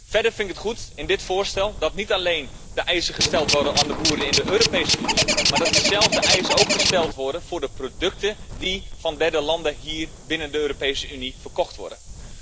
Verder vind ik het goed dat in dit voorstel niet alleen de eisen gesteld worden aan de boeren in de Europese Unie, maar dat diezelfde eisen ook gesteld worden aan de producten die van derde landen hier binnen de Europese Unie verkocht worden.